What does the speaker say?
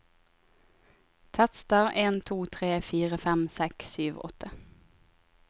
Tester en to tre fire fem seks sju åtte